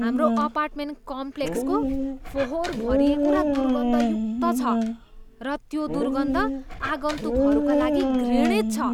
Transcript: हाम्रो अपार्टमेन्ट कम्प्लेक्सको फोहोर भरिएको र दुर्गन्धयुक्त छ र त्यो दुर्गन्ध आगन्तुकहरूका लागि घृणित छ।